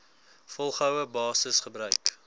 volgehoue basis gebruik